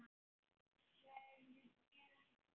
Svo urðu bréfin fleiri.